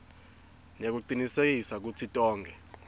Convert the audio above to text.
nekucinisekisa kutsi tonkhe